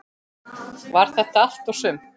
Var þetta allt og sumt?